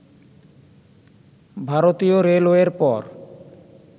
ভারতীয় রেলওয়ের পর